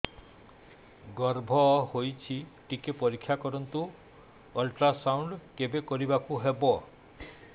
ଗର୍ଭ ହେଇଚି ଟିକେ ପରିକ୍ଷା କରନ୍ତୁ ଅଲଟ୍ରାସାଉଣ୍ଡ କେବେ କରିବାକୁ ହବ